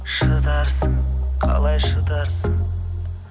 шыдарсың қалай шыдарсың